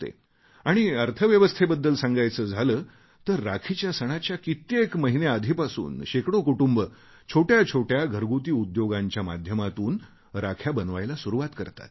आणि अर्थव्यवस्थेबद्दल सांगायचे झाले तर राखीच्या सणाच्या कित्येक महिने आधीपासून शेकडो कुटुंबं छोट्या छोट्या घरगुती उद्योगांच्या माध्यमातून राख्या बनवायला सुरुवात करतात